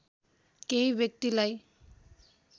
केही व्यक्तिलाई